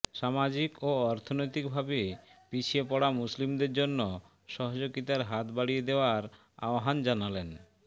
সামাজিক ও অর্থনৈতিক ভাবে পিছিয়ে পড়া মুসলিমদের জন্য সহযোগিতার হাত বাড়িয়ে দেওয়ার আহ্বান জানালেন